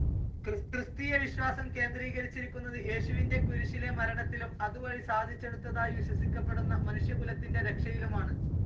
Christian വിശ്വാസം കേന്ദ്രീകരിച്ചിരിക്കുന്നത് യേശുവിൻ്റെ കുരിശിലെ മരണത്തിലും അതുവഴി സാധിച്ചെടുത്തതായി വിശ്വസിക്കപ്പെടുന്ന മനുഷ്യകുലത്തിൻ്റെ രക്ഷയിലുമാണ്.